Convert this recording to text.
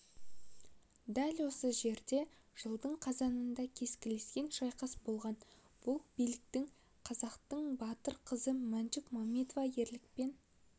дәл осы жерде жылдың қазанында кескілескен шайқас болған бұл биіктікте қазақтың батыр қызы мәншүк мәметова ерлікпен